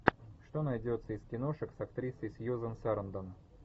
что найдется из киношек с актрисой сьюзан сарандон